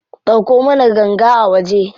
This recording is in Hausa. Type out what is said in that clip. Ɗauko mana ganga a waje.